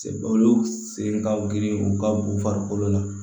Olu sen ka girin u ka bo farikolo la